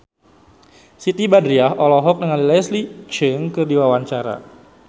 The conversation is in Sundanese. Siti Badriah olohok ningali Leslie Cheung keur diwawancara